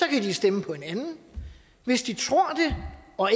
kan de stemme på en anden hvis de tror det og